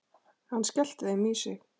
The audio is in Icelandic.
Hann skellti þeim í sig.